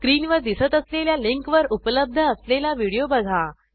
स्क्रीनवर दिसत असलेल्या लिंकवर उपलब्ध असलेला व्हिडिओ बघा